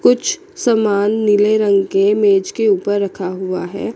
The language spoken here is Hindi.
कुछ समान नीले रंग के मेज के ऊपर रखा हुआ है।